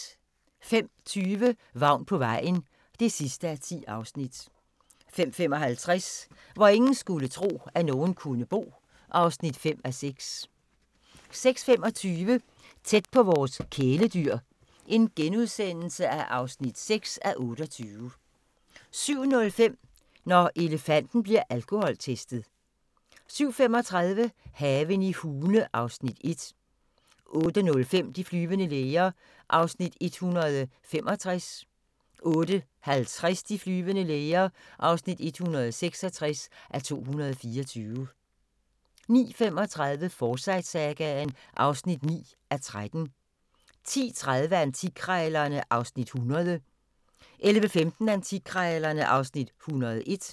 05:20: Vagn på vejen (10:10) 05:55: Hvor ingen skulle tro, at nogen kunne bo (5:6) 06:25: Tæt på vores kæledyr (6:28)* 07:05: Når elefanten bliver alkoholtestet 07:35: Haven i Hune (Afs. 1) 08:05: De flyvende læger (165:224) 08:50: De flyvende læger (166:224) 09:35: Forsyte-sagaen (9:13) 10:30: Antikkrejlerne (Afs. 100) 11:15: Antikkrejlerne (Afs. 101)